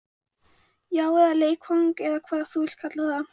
Já, eða leikfang eða hvað þú vilt kalla það.